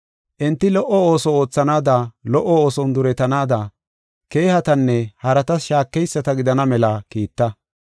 Enti lo77o ooso oothanaada lo77o ooson duretanaada, keehatanne haratas shaakeyisata gidana mela kiitta.